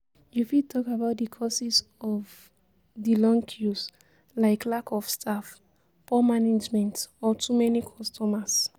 You fit talk about di causes of di long queues, like lack of staff, poor management or too many customers.